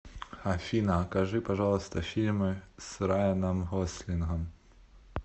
афина окажи пожалуйста фильмы с райаном гослингом